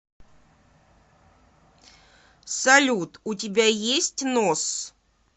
салют у тебя есть нос